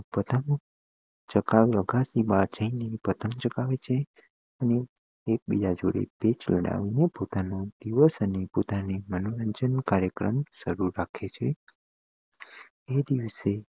પતંગ ની પતંગ ચગાવે છે અને એક બીજા જોડે પેચ લડાવીને પોતાનો દિવસ અને પોતાને મનોરંજન કાર્યક્રમ સારું રાખીયે છીયે એ દિવસે